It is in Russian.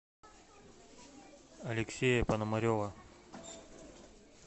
алексея пономарева